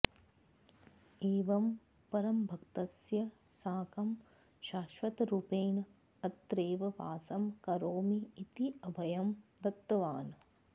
एवं परमभक्तस्य साकं शाश्वतरूपेण अत्रैव वासं करोमि इति अभयं दत्तवान्